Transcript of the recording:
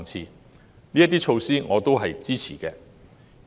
對於這些措施，我亦表示支持。